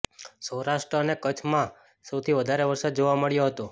સૌરાષ્ટ્ર અને કચ્છમાં સૌથી વધારે વરસાદ જોવા મળ્યો હતો